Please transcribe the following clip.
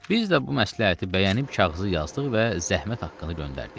Biz də bu məsləhəti bəyənib kağızı yazdıq və zəhmət haqqını göndərdik.